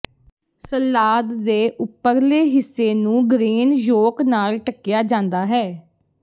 salad ਦੇ ਉੱਪਰਲੇ ਹਿੱਸੇ ਨੂੰ ਗਰੇਨ ਯੋਕ ਨਾਲ ਢਕਿਆ ਜਾਂਦਾ ਹੈ